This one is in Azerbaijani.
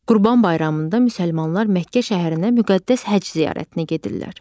Qurban bayramında müsəlmanlar Məkkə şəhərinə müqəddəs həcc ziyarətinə gedirlər.